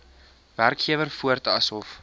werkgewer voort asof